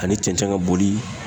Ani cɛncɛn ka boli